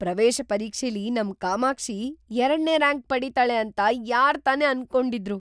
ಪ್ರವೇಶ ಪರೀಕ್ಷೆಲಿ ನಮ್ ಕಾಮಾಕ್ಷಿ ಎರಡ್ನೇ ರ್ಯಾಂಕ್ ಪಡೀತಾಳೆ ಅಂತ ಯಾರ್‌ ತಾನೇ ಅನ್ಕೊಂಡಿದ್ರು?!